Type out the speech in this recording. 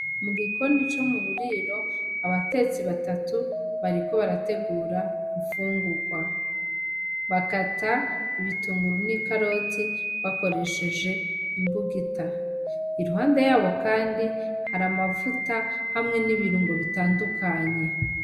Mugikoni co muburiro abatetsi batatu bariko barategura imfungurwa, bakata ibitunguru n'ikaroti bakoresheje imbugita, iruhande yabo kandi hari amavuta hamwe nibirungo bitandukanye.